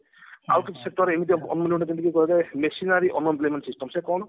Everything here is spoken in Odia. ଆଉ କିଛି missionary unemployment system ସେ କଣ